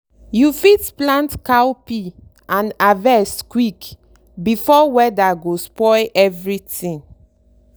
you fit plant cowpea and harvest quick before weather go spoil everything.